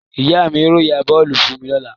Ìyá mi yóò ra bọ́ọ́lù fún mi lọ́la.